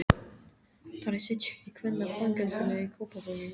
Þær sitja í kvennafangelsinu í Kópavogi.